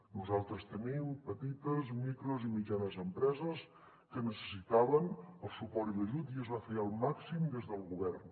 nosaltres tenim petites micros i mitjanes empreses que necessitaven el suport i l’ajut i es va fer el màxim des del govern